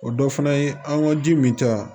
O dɔ fana ye an ka ji min ta